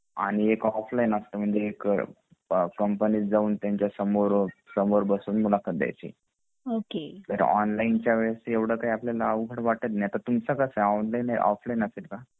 आणि एक ऑफलाइन असत एक कंपनीत जाऊन त्यांच्या समोर बसून मुलाखत द्यायची तर ऑनलाइन च्या वेळेला एवढ अवघड वाटत नाही आता तुमच कस ऑनलाइन की ऑफलाइन असेल का ?